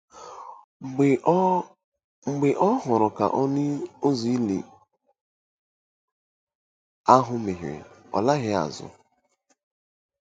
Mgbe ọ Mgbe ọ hụrụ ka ọnụ ụzọ ili ahụ meghere, ọ laghị azụ.